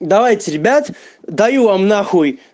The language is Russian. давайте ребят даю вам нахуй